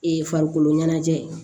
Ee farikoloɲɛnajɛ